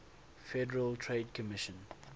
federal trade commission